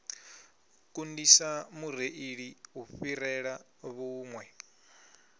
kundisa mureili u fhirela vhuṋwe